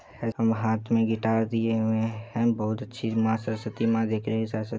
हाथ मे गिटार दिए हुए हैं बहोत अच्छी मां सरस्वती मां दिख रही है सरसती---